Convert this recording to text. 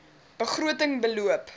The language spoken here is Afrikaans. begroting beloop